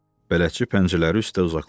Bələdçi pəncələri üstə uzaqlaşdı.